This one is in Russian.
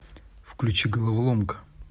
включи головоломка